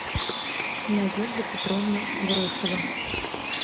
надежда петровна грушева